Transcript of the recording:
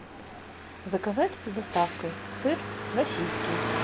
заказать с доставкой сыр российский